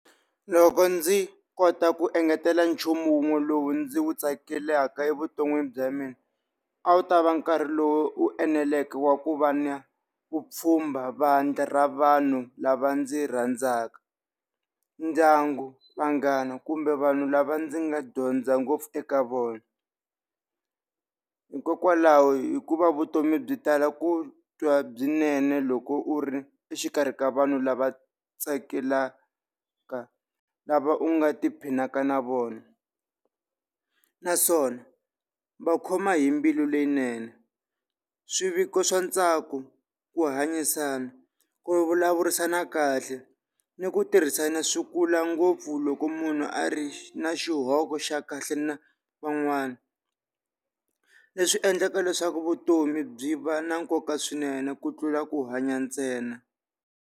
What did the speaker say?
Loko ndzi kota ku engetela nchumu wun'we lowu ndzi wu tsakelaka evuton'wini bya mina a wu ta va nkarhi lowu eneleke wa ku va na vupfhumba, vandla ra vanhu lava ndzi rhandzaka, ndyangu, vanghana kumbe vanhu lava ndzi nga dyondza ngopfu eka vona. Hikokwalaho hikuva vutomi byi tala ku twa byinene loko u ri exikarhi ka vanhu lava tsakelaka lava u nga tiphinaka na vona, naswona va khoma hi mbilu leyinene, swiviko swa ntsako, ku hanyisana, ku vulavurisana kahle, ni ku tirhisana swi kula ngopfu loko munhu a ri na xihoko xa kahle na van'wana. Leswi endlaka leswaku vutomi byi va na nkoka swinene ku tlula ku hanya ntsena.